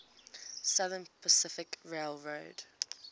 southern pacific railroad